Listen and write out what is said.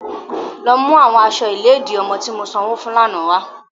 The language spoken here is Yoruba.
Lọ mu awọn aṣọ iledi ọmọ ti mo sanwo fun lana wa!